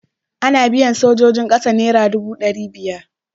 Ana biyan sojojin ƙasa naira dubu ɗari biyar.